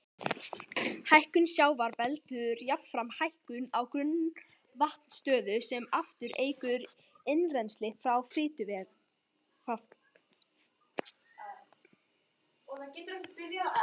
Hækkun sjávar veldur jafnframt hækkun á grunnvatnsstöðu sem aftur eykur innrennsli í fráveitukerfi.